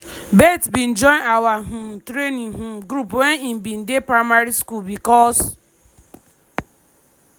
"bett bin join our um training um group wen im bin dey primary school becos